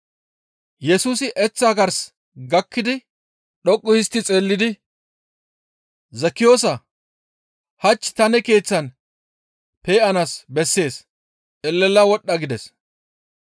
Yesusi eththaa gars gakkidi dhoqqu histti xeellidi, «Zekkiyoosaa! Hach ta ne keeththan pe7anaas bessees; elela wodhdha» gides.